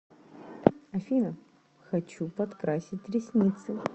афина хочу подкрасить ресницы